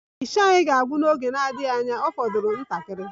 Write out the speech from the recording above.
Isha anyị ga-agwụ n'oge na-adịghị anya,Ọ fọdụrụ ntakịrị